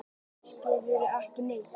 Skilurðu ekki neitt?